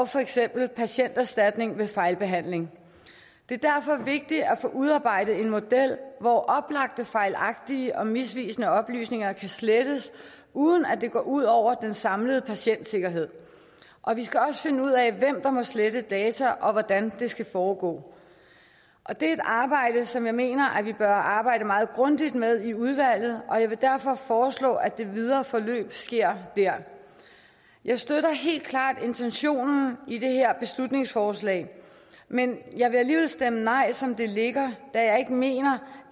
for eksempel patienterstatning ved fejlbehandling det er derfor vigtigt at få udarbejdet en model hvor oplagt fejlagtige og misvisende oplysninger kan slettes uden at det går ud over den samlede patientsikkerhed og vi skal også finde ud af hvem der må slette data og hvordan det skal foregå det er et arbejde som jeg mener at vi bør arbejde meget grundigt med i udvalget og jeg vil derfor foreslå at det videre forløb sker dér jeg støtter helt klart intentionen i det her beslutningsforslag men jeg vil alligevel stemme nej som det ligger da jeg ikke mener